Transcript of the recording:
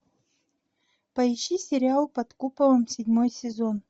поищи сериал под куполом седьмой сезон